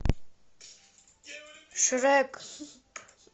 шрек